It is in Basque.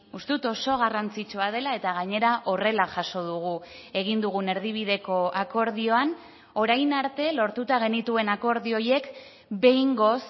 uste dut oso garrantzitsua dela eta gainera horrela jaso dugu egin dugun erdibideko akordioan orain arte lortuta genituen akordio horiek behingoz